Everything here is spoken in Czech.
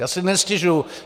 Já si nestěžuji.